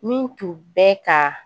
Min tun bɛ ka